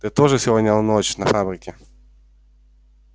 ты тоже сегодня в ночь на фабрике